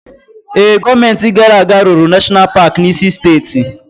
Ee, gọọmenti gara aga rụrụ Nashọnal Paki n'isi steeti.